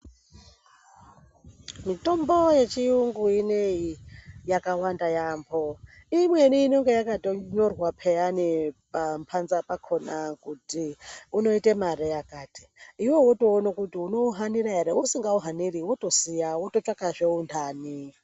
Mitombo yechiyungu ineyi, yakawanda yaamho. Imweni inonga yakatonyorwa peyani pamhanza pakhona kuti unoita mare yakati, iwewe wotoona kuti unouhanira ere, usingauhaniri wotosiya, wototsvakahe untanhi.